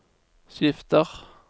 skifter